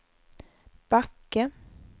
Backe